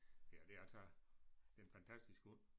Ja det er altså det en fantastisk hund